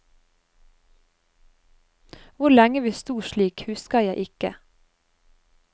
Hvor lenge vi sto slik husker jeg ikke.